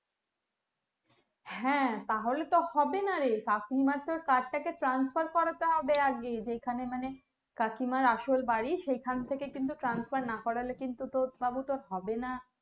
হ্যাঁ তাহলে তো হবেনা রহে কাকিমার তো card টাকে transfer হবে আগে যেখানে মানে কাকিমার আসল বাড়ি সেখান থেকে কিন্তু transfer না করলে কিন্তু তোর বাবু তোর হবেনা